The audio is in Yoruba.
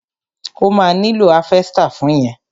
O ma nílò háfẹ́stà fún yẹn.